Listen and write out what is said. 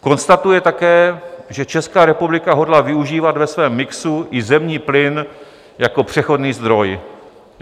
Konstatuje také, že Česká republika hodlá využívat ve svém mixu i zemní plyn jako přechodný zdroj.